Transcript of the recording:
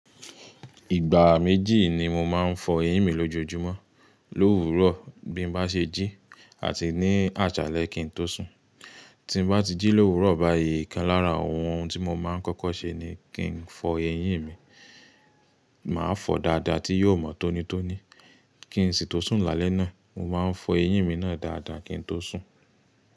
Ìgbà méjì ni mo máa ń fọ eyín mi lójoojúmọ́. L'òwúrọ̀ bí mo bá ṣe jí àti ní àsálẹ́ kí n tó sùn. Tí bá ti jí l'òwúrọ̀ báyìí, ìkan lára àwọn ohun tí mo máa ń kọ́kọ́ ṣe ni kí n fọ eyín mi. Màá fọ dáadáa tí yóò mọ tónítóní. Kí n sì tó sùn lálẹ́ náà, mo máa ń fọ eyín mi náà dáadáa kí n tó sùn.